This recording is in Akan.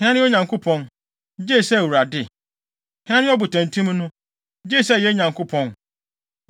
Hena ne Onyankopɔn, gye sɛ Awurade? Hena ne ɔbotantim no, gye sɛ yɛn Nyankopɔn?